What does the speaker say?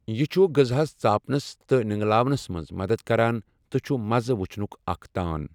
یہِ چھُ غزاہَس ژاپنَس تہٕ نؠنگلاونَس مَنٛز مَدَتھ کَران تہٕ چھُ مَزٕہ وُچھنُک اَکھ تان۔